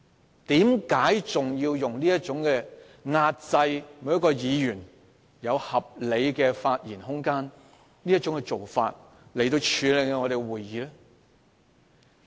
為何主席要採用這種壓制議員應有而合理的發言空間的做法來處理立法會會議呢？